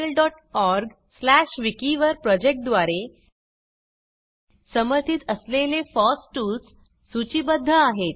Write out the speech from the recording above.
spoken tutorialorgविकी वर project द्वारे समर्थित असलेले फॉस टूल्स सूचीबद्ध आहेत